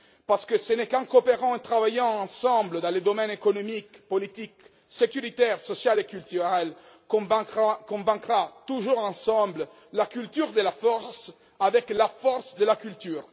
Ce n'est qu'en coopérant et en travaillant ensemble dans les domaines économique, politique, sécuritaire, social et culturel, que nous vaincrons, toujours ensemble, la culture de la force avec la force de la culture.